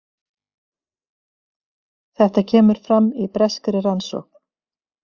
Þetta kemur fram í breskri rannsókn